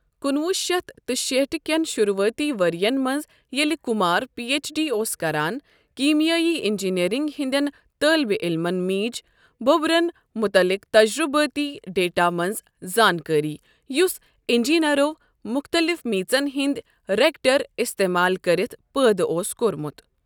کُنٛوُہ شیٚتھ تہٕ شیٹھ کٮ۪ن شُروعٲتی ؤرۍین منٛز، ییٚلہِ کُمار پی اٮ۪چ ڈی اوس کَران، کیٖمیٲیی اِنٛجیٖنیٚرِنٛگ ہِنٛدٮ۪ن طٲلبہِ علمن میٖج بُبرَن مُتعلِق تجرُبٲتی ڈیٹا منٛز زانٛکٲری، یُس اِنٛجیٖنَرو مختلف میژن ہِنٛدۍ رِیکٹَر اِستعمال کٔرِتھ پٲدٕ اوس کوٚرمُت۔